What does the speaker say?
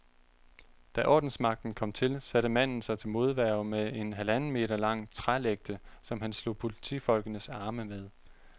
Da ordensmagten kom til, satte manden sig til modværge med en halvanden meter lang trælægte, som han slog politifolkenes arme med.